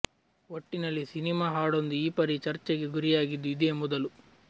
ಒಟ್ಟಿನಲ್ಲಿ ಸಿನಿಮಾ ಹಾಡೊಂದು ಈ ಪರಿ ಚರ್ಚೆಗೆ ಗುರಿಯಾಗಿದ್ದು ಇದೇ ಮೊದಲು